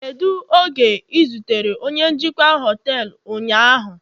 Kedu oge ị zutere onye njikwa họtelu ụnyaahụ